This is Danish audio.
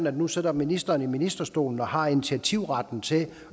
og nu sidder ministeren i ministerstolen og har initiativretten til